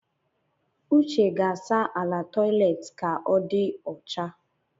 Uche ga-asa ala toilet ka ọ dị ọcha